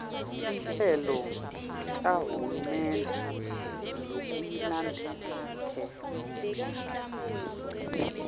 tinhlelo tahulumende lokuyilandcare